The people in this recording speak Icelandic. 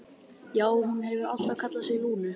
Já, hún hefur alltaf kallað sig Lúnu.